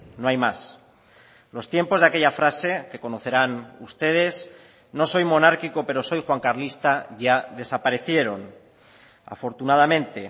no hay más los tiempos de aquella frase que conocerán ustedes no soy monárquico pero soy juancarlista ya desaparecieron afortunadamente